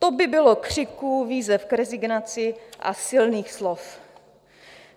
To by bylo křiku, výzev k rezignaci a silných slov.